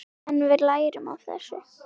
En við lærum af þessu.